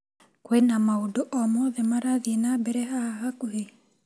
Kwĩna maũndũ o mothe marathiĩ na mbere haha hakuhĩ ?